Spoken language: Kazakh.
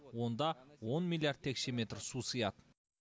онда он миллиард текше метр су сияды